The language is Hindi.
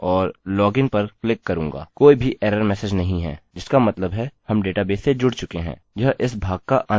कोई भी एरर मेसेज नहीं है जिसका मतलब है हम डेटाबेस से जुड़ चुके हैं